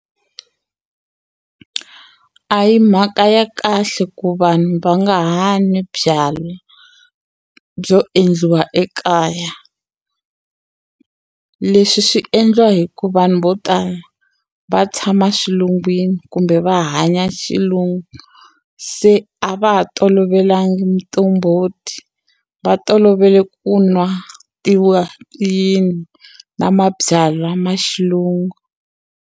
A hi mhaka ya kahle ku vanhu va nga ha nwi byalwa byo endliwa ekaya leswi swi endliwa hi ku vanhu vo tala va tshama xilungwini kumbe va hanya xilungu se a va ha tolovelangi miqombhoti va tolovele ku nwa tiwayini na mabyalwa ma xilungu.